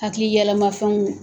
Hakili yɛlɛmafɛnw